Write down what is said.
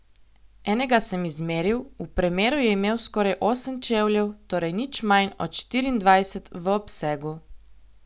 Enega sem izmeril, v premeru je imel skoraj osem čevljev, torej nič manj od štiriindvajset v obsegu!